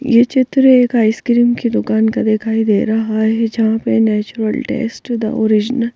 यह चित्र एक आइसक्रीम की दुकान का दिखाई दे रहा है। जहां पे नेचुरल टेस्ट द ओरिजिनल --